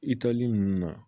I taali nunnu na